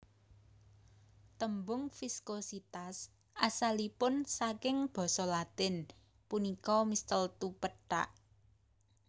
Tembung viskositas asalipun saking basa Latin punika mistletoe pethak